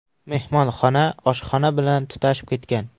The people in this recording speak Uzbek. Mehmonxona oshxona bilan tutashib ketgan.